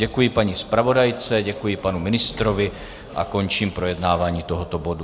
Děkuji paní zpravodajce, děkuji panu ministrovi a končím projednávání tohoto bodu.